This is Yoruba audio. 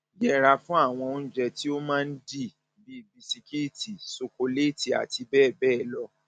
yẹra fún àwọn oúnjẹ tí ó máa ń dì ń dì bíi bisikíìtì ṣokoléètì àti bẹẹ bẹẹ lọ